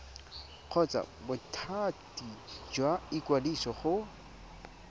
kgotsa bothati jwa ikwadiso go